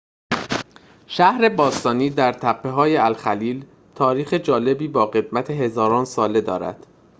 شهر باستانی در تپه‌های الخلیل تاریخ جالبی با قدمت هزاران ساله دارد